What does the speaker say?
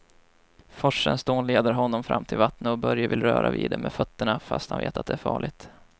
Forsens dån leder honom fram till vattnet och Börje vill röra vid det med fötterna, fast han vet att det är farligt.